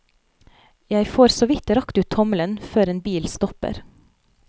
Jeg får såvidt rakt ut tommelen før en bil stopper.